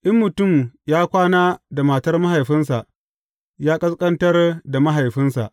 In mutum ya kwana da matar mahaifinsa, ya ƙasƙantar da mahaifinsa.